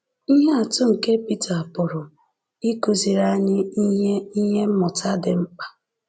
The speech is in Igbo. Ihe atụ nke Pita pụrụ ịkụziri anyị ihe ihe mmụta dị mkpa.